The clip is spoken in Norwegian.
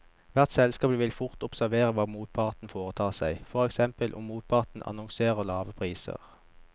Hvert selskap vil fort observere hva motparten foretar seg, for eksempel om motparten annonserer lavere priser.